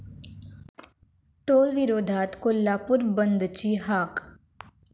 टोलविरोधात कोल्हापूर बंदची हाक